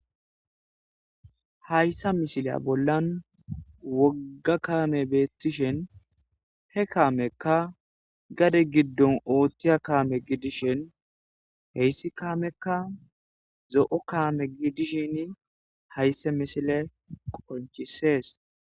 hayssa mishila bollan wogga kaame beettishen he kaamekka gade giddon ooththiya kaame gidishen heyssi kaamekka zo7o kaame gidishin haysse misile qonchisees